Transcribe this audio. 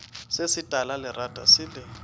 se se talalerata se le